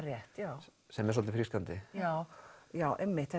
rétt já sem er svolítið frískandi já já einmitt